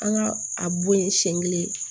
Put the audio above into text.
An ka a bɔ ye siɲɛ kelen